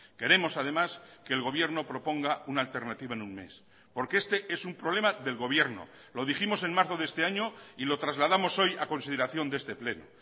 queremos además que el gobierno proponga una alternativa en un mes porque este es un problema del gobierno lo dijimos en marzo de este año y lo trasladamos hoy a consideración de este pleno